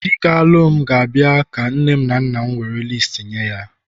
di m ga-abu ga-abia ka nne na nna m were listi